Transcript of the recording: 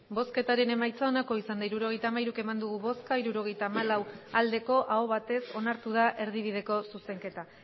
hirurogeita hamairu eman dugu bozka hirurogeita hamalau bai aho batez onartu da erdibideko zuzenketa